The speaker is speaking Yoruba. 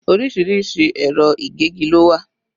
Orísìírísìí ẹ̀rọ ìgégi lo wà